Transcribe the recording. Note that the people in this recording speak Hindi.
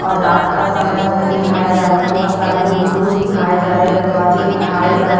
और रात का समय उमय दिखाया जा रहा बहुत सारे विंडोज दिखाए जा रहे दरवाजे दिखाए जा र--